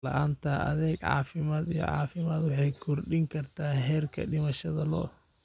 La'aanta adeeg caafimaad iyo caafimaad waxay kordhin kartaa heerka dhimashada lo'da.